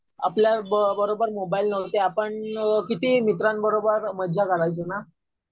आपल्या बरोबर मोबाईल नव्हते. आपण किती मित्रांबरोबर मजा करायचो ना.